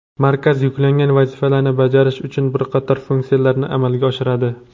Markaz yuklangan vazifalarni bajarish uchun bir qator funksiyalarni amalga oshiradi.